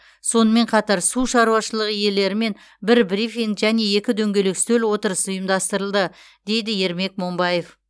сонымен қатар су шаруашылығы иелерімен бір брифинг және екі дөңгелек үстел отырысы ұйымдастырылды дейді ермек момбаев